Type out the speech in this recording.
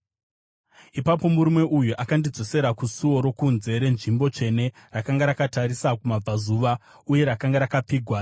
Ipapo murume uyu akandidzosera kusuo rokunze renzvimbo tsvene rakanga rakatarisa kumabvazuva, uye rakanga rakapfigwa.